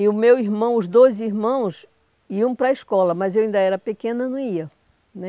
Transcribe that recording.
E o meu irmão, os dois irmãos iam para a escola, mas eu ainda era pequena, não ia né.